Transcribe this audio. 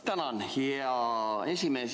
Tänan, hea esimees!